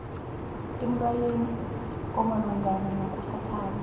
emlayweni omalungana nokuthathana